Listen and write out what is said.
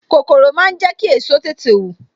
Kòkòrò máa ń jẹ ki èso tètè wù